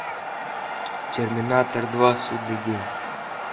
терминатор два судный день